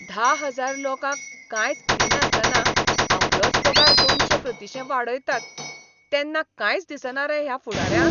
धा हजार लोकांक कांयच दिनासतना आपलोच पगार दोनशे प्रतिशें वाडयतात तेन्ना कांयच दिसना रे ह्या फुडाऱ्यांक?